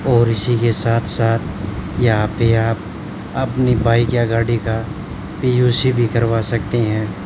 और इसी के साथ साथ यहां पे आप अपनी बाइक या गाड़ी का पी_यू_सी भी करवा सकते हैं।